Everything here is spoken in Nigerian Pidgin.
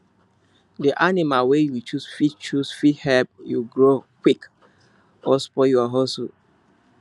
the animal wey you choose fit choose fit help you grow quick or spoil your hustle